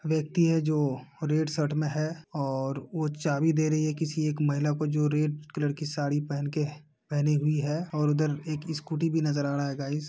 व्यक्ति है जो रेड शर्ट मे हैऔर वो चाबी दे रही है किसी एक महिला को जो रेड कलर की साड़ी पहन के पेहनी (पहनी) हुई है और उधर एक स्कूटी भी नज़र आ रहा है गाइज़ --